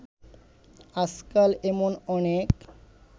আজকাল এমন অনেক